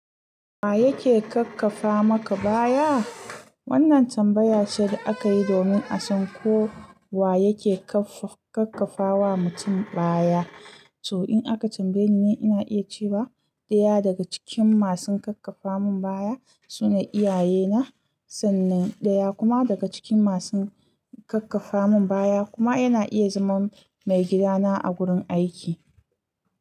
Wa yake kakkafa maka baya? Wannan tambaya ce da aka yi domin a san ko wa yake kakkafa wa mutum baya. To, in aka tambaye ni, ina iya cewa ɗaya daga cikin masu kakkafa mun baya suna iyaye na, sannan ɗaya kuma daga cikin masu kakkafa mun baya kuma yana iya zama maigida na a gurin aiki.